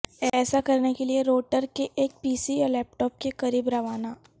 ایسا کرنے کے لئے روٹر کے ایک پی سی یا لیپ ٹاپ کے قریب روانہ